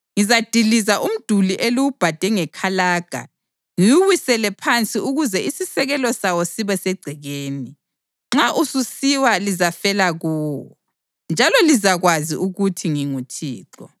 Ngizadiliza umduli eliwubhade ngekalaga ngiwuwisele phansi ukuze isisekelo sawo sibe segcekeni. Nxa ususiwa lizafela kuwo; njalo lizakwazi ukuthi nginguThixo.